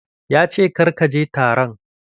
Ya ce "Kar ka je taron"!